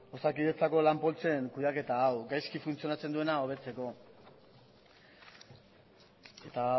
osakidetzako lan poltsen kudeaketa hau gaizki funtzionatzen duena hobetzeko eta